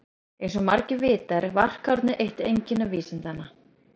Eins og margir vita er varkárni eitt einkenni vísindanna.